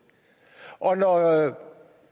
når